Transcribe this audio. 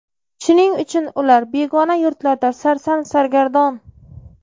Shuning uchun ular begona yurtlarda sarson-sargardon.